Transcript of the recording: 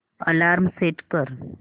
alarm set कर